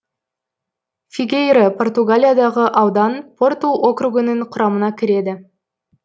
фигейро португалиядағы аудан порту округінің құрамына кіреді